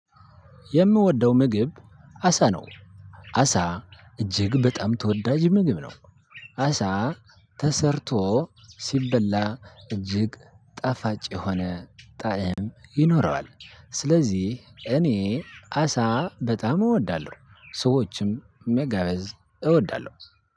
የምወደው ምግብ አሳ ነው። አሳ እጅግ በጣም ተወዳጅ ምግብ ነው። አሳ ተሰርቶ ሲበላ እጅግ ጣፋጭ የሆነ ጣዕም ይኖረዋል። ስለዚህ እኔ አሳ በጣም እወዳለሁ ሰዎችም መጋበዝ እወዳለሁ።